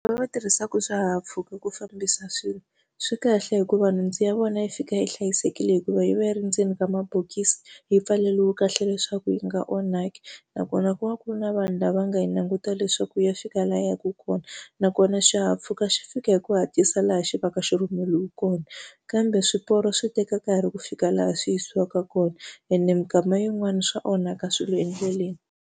Lava va tirhisaka swihahampfhuka ku fambisa swilo, swi kahle hikuva nhundzu ya vona yi fika yi hlayisekile hikuva yi va yi ri endzeni ka mabokisi yi pfaleriwe kahle leswaku yi nga onhaki. Nakona ku va ku ri na vanhu lava nga yi langutile leswaku ya fika laha yi yaka kona, nakona xihahampfhuka xi fika hi ku hatlisa laha xi va ka xi rhumeriwe kona. Kambe swiporo swi teka nkarhi ku fika laha swi yisiwaka kona, ene minkama yin'wani swa onhaka swilo endleleni.